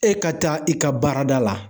E ka taa i ka baarada la